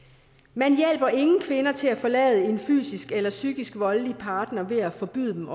man hjælper ingen kvinder til at forlade en fysisk eller psykisk voldelig partner ved at forbyde dem